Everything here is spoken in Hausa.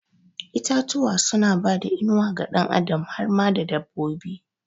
Itatuwa suna bada inuwa ga ɗan adam har ma da dabbobi